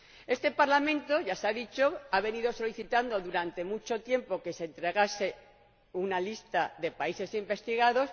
Este Parlamento —ya se ha dicho— ha venido solicitando durante mucho tiempo que se entregase una lista de países investigados.